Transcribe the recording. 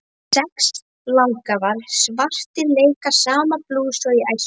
Sex langafar svartir leika sama blús og í æsku.